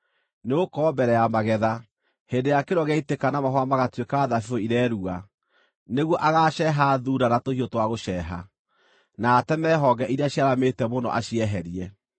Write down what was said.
Nĩgũkorwo mbere ya magetha, hĩndĩ ĩrĩa kĩro gĩaitĩka na mahũa magatuĩka thabibũ irerua, nĩguo agaaceeha thuuna na tũhiũ twa gũceeha, na ateme honge iria ciaramĩte mũno acieherie.